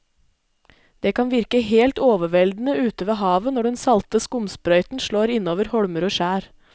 Det kan virke helt overveldende ute ved havet når den salte skumsprøyten slår innover holmer og skjær.